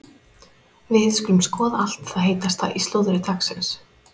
Við skulum skoða allt það heitasta í slúðri dagsins.